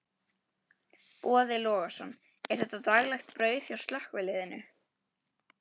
Boði Logason: Er þetta daglegt brauð hjá slökkviliðinu?